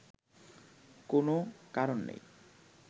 কোনও কারণ নেই